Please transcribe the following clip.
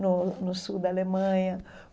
no no sul da Alemanha.